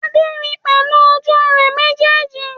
Adé ri pẹ̀lú ojú rẹ̀ méjèèjì